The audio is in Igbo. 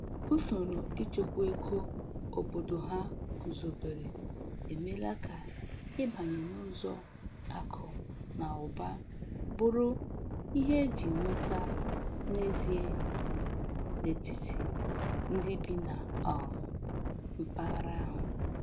Usoro ịchekwa ego obodo ha guzobere emeela ka ịbanye n’ụzọ akụ na ụba bụrụ ihe e ji nweta n’ezie n’etiti ndị bi na um mpaghara ahụ